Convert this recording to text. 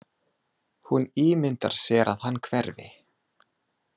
Hún ímyndar sér að hann hverfi.